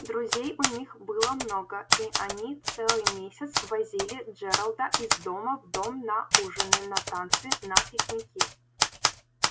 друзей у них было много и они целый месяц возили джералда из дома в дом на ужины на танцы на пикники